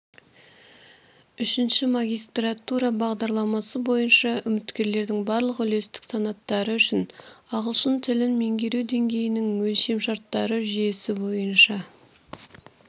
үшінші магистратура бағдарламасы бойынша үміткерлердің барлық үлестік санаттары үшін ағылшын тілін меңгеру деңгейінің өлшемшарттары жүйесі бойынша